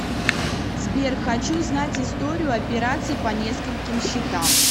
сбер хочу знать историю операций по нескольким счетам